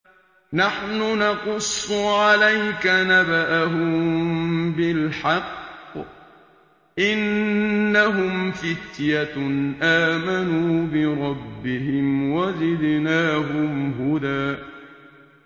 نَّحْنُ نَقُصُّ عَلَيْكَ نَبَأَهُم بِالْحَقِّ ۚ إِنَّهُمْ فِتْيَةٌ آمَنُوا بِرَبِّهِمْ وَزِدْنَاهُمْ هُدًى